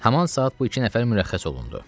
Haman saat bu iki nəfər mürəxxəs olundu.